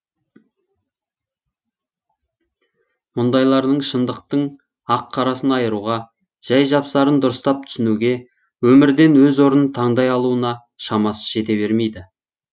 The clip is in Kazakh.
мұндайлардың шындықтың ақ қарасын айыруға жай жапсарын дұрыстап түсінуге өмірден өз орнын тандай алуына шамасы жете бермейді